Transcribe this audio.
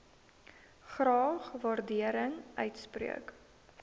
graag waardering uitspreek